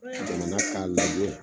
Jamana ka lajɛ